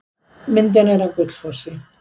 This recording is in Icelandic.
Myndin er af Gullfossi.